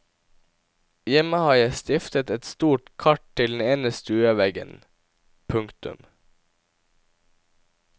Hjemme har jeg stiftet et stort kart til den ene stueveggen. punktum